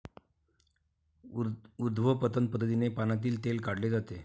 उर्ध्वपतन पद्धतीने पानांतील तेल काढले जाते.